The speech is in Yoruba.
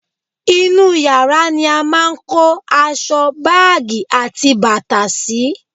inú yàrá ni a máà ń kó aṣọ, báàgì àti bàtà sì